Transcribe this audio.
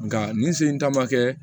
Nka nin sen in ta ma kɛ